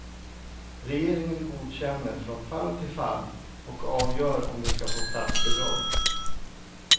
Regeringen godkänner från fall till fall och avgör om de skall få statsbidrag.